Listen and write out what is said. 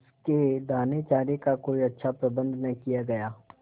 उसके दानेचारे का कोई अच्छा प्रबंध न किया गया